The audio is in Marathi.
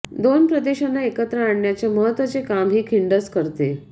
दोन प्रदेशांना एकत्र आणण्याचे महत्त्वाचे काम ही खिंडच करते